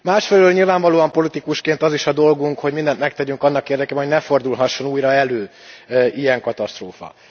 Másfelől nyilvánvalóan politikusként az is a dolgunk, hogy mindent megtegyünk annak érdekében, hogy ne fordulhasson újra elő ilyen katasztrófa.